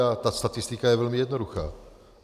A ta statistika je velmi jednoduchá.